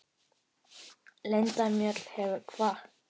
Linda Mjöll hefur kvatt.